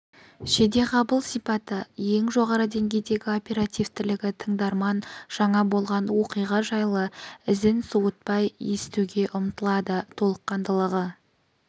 жедеғабыл сипаты ең жоғары деңгейдегі оперативтілігі тыңдарман жаңа болған оқиға жайлы ізін суытпай естуге ұмтылады толыққандылығы